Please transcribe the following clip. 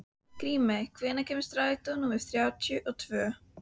Grímey, hvenær kemur strætó númer þrjátíu og tvö?